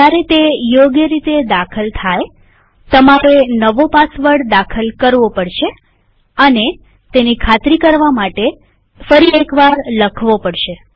જયારે તે યોગ્ય રીતે દાખલ થાયતમારે નવો પાસવર્ડ દાખલ કરવો પડશે અને તેની ખાતરી કરવા ફરી એક વાર લખવો પડશે